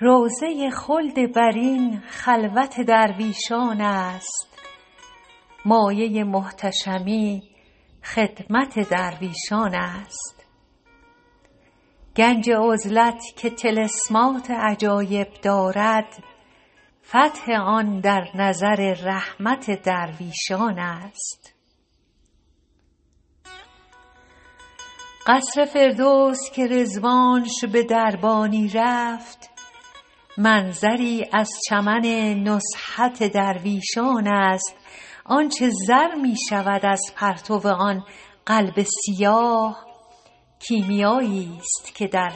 روضه خلد برین خلوت درویشان است مایه محتشمی خدمت درویشان است گنج عزلت که طلسمات عجایب دارد فتح آن در نظر رحمت درویشان است قصر فردوس که رضوانش به دربانی رفت منظری از چمن نزهت درویشان است آن چه زر می شود از پرتو آن قلب سیاه کیمیاییست که در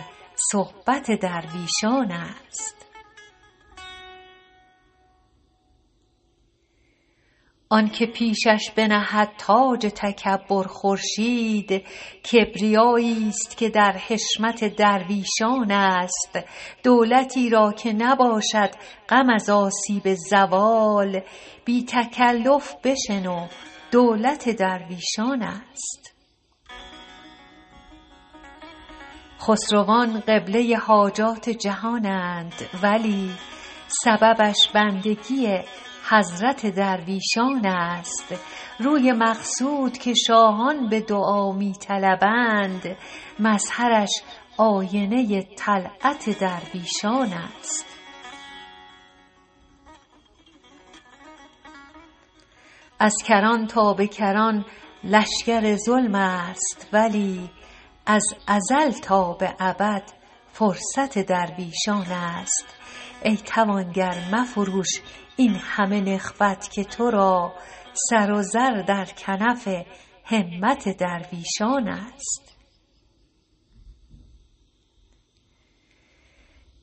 صحبت درویشان است آن که پیشش بنهد تاج تکبر خورشید کبریاییست که در حشمت درویشان است دولتی را که نباشد غم از آسیب زوال بی تکلف بشنو دولت درویشان است خسروان قبله حاجات جهانند ولی سببش بندگی حضرت درویشان است روی مقصود که شاهان به دعا می طلبند مظهرش آینه طلعت درویشان است از کران تا به کران لشکر ظلم است ولی از ازل تا به ابد فرصت درویشان است ای توانگر مفروش این همه نخوت که تو را سر و زر در کنف همت درویشان است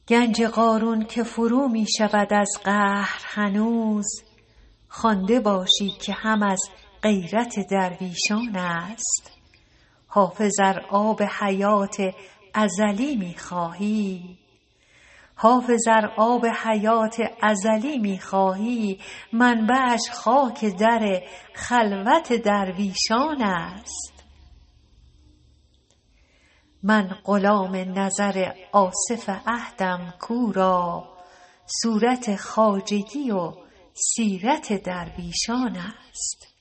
گنج قارون که فرو می شود از قهر هنوز خوانده باشی که هم از غیرت درویشان است حافظ ار آب حیات ازلی می خواهی منبعش خاک در خلوت درویشان است من غلام نظر آصف عهدم کو را صورت خواجگی و سیرت درویشان است